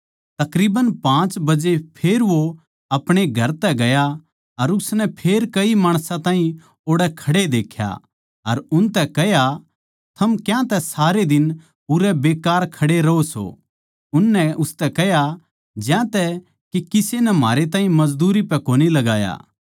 तकरीबन पाँच बजे फेर वो अपणे घर तै गया अर उसनै फेर कई माणसां ताहीं ओड़ै खड़े देख्या अर उसनै कह्या थम क्यांतै सारै दिन उरै बेकार खड़े रहों सों उननै उसतै कह्या ज्यांतै के किसे नै म्हारै ताहीं मजदूरी पै कोनी लगाया